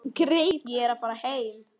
Ég er að fara heim.